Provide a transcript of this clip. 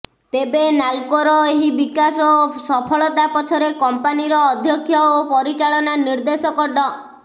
ତେବେ ନାଲ୍କୋର ଏହି ବିକାଶ ଓ ସଫଳତା ପଛରେ କମ୍ପାନୀର ଅଧ୍ୟକ୍ଷ ଓ ପରିଚାଳନା ନିଦେ୍ର୍ଧଶକ ଡ